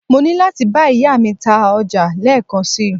mo ni lati ba iya mi ta oja leekan si